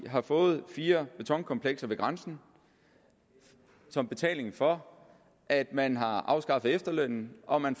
har fået fire betonkomplekser ved grænsen som betaling for at man har afskaffet efterlønnen og at man